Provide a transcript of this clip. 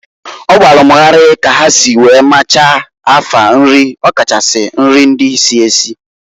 O gbalụ m gharị ka ha si wee machaa afa nrị, ọ kachasị nrị ndị si esi.